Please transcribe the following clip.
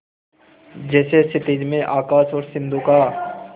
जैसे क्षितिज में आकाश और सिंधु का